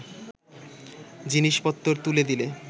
জিনিষপত্তর তুলে দিলে